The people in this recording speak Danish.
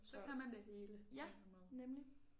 Så kan man det hele på en eller anden måde